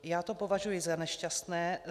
Já to považuji za nešťastné.